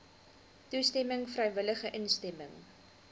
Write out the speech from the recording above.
toestemming vrywillige instemming